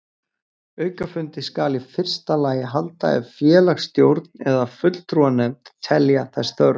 Aukafundi skal í fyrsta lagi halda ef félagsstjórn eða fulltrúanefnd telja þess þörf.